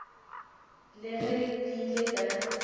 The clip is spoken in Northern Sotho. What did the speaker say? le ge ke ile ka